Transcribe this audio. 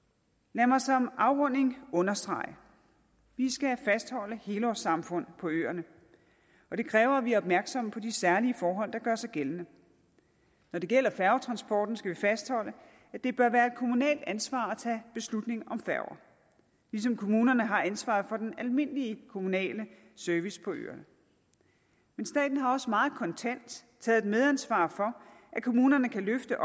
lad mig som afrunding understrege at vi skal fastholde helårssamfund på øerne og det kræver at vi er opmærksomme på de særlige forhold der gør sig gældende når det gælder færgetransporten skal vi fastholde at det bør være et kommunalt ansvar at tage beslutning om færger ligesom kommunerne har ansvaret for den almindelige kommunale service på øerne men staten har også meget kontant taget et medansvar for at kommunerne kan løfte